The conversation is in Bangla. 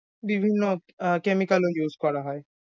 বিভিন্ন আহ chemical ও use করা হয়।